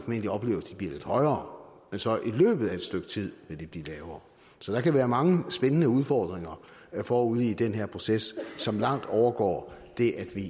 vil opleve at de bliver lidt højere og at de så i løbet af et stykke tid vil blive lavere så der kan være mange spændende udfordringer forude i den her proces som langt overgår det at vi